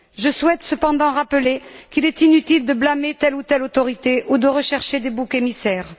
Je souhaite cependant rappeler qu'il est inutile de blâmer telle ou telle autorité ou de rechercher des boucs émissaires.